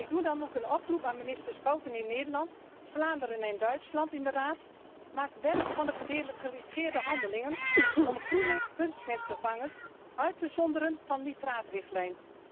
Ik doe dan ook een oproep aan minister Schouten in Nederland, en aan Vlaanderen en Duitsland in de Raad maak werk van de gedelegeerde handelingen om groene kunstmestvervangers uit te zonderen van de nitraatrichtlijn.